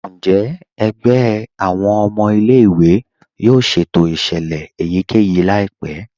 Njẹ́ ègbẹ̀ awọn ọmọ ilẹ̀-ìwé yóò ṣétò iṣẹ́lẹ̀ èyíkẹ́yí laípẹ̀?